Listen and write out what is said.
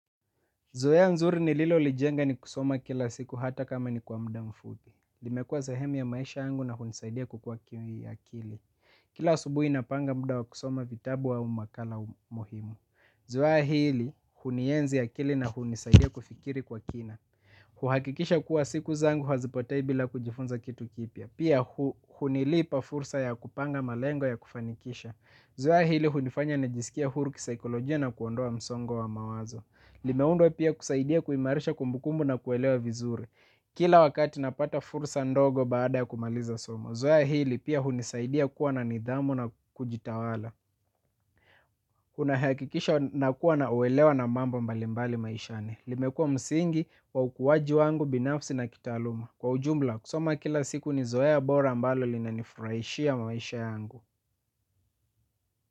Zoea nzuri ni lilo lijenga ni kusoma kila siku hata kama ni kwa mda mfupi. Limekua zahemi ya maisha yangu na hunisaidia kukua kia kili. Kila asubuhi na panga mda wa kusoma vitabu au makala muhimu. Zoea hili, hunienzi ya kili na hunisaidia kufikiri kwa kina. Huhakikisha kuwa siku zangu hazipotei bila kujifunza kitu kipya. Pia hunilipa fursa ya kupanga malengo ya kufanikisha. Zoea hili, hunifanya na jisikie huru kisaikolojia na kuondoa msongo wa mawazo. Limeundwa pia kisaidia kuimarisha kumbukumbu na kuelewa vizuri kila wakati napata fursa ndogo baada ya kumaliza somo zoea hili pia unisaidia kuwa na nidhamu na kujitawala. Kuna hakikisha na kuwa na uwelewa na mamba mbali mbali maishane. Limekua msingi kwa ukuwaji wangu binafsi na kitaluma. Kwa ujumla kusoma kila siku ni zoea bora ambalo linanifurahishia maisha yangu.